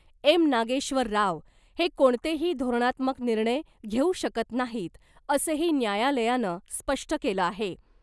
M Nageshwar Rao हे कोणतेही धोरणात्मक निर्णय घेऊ शकत नाहीत , असंही न्यायालयानं स्पष्ट केलं आहे .